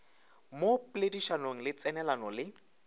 mo poledišanong le tsenelelano le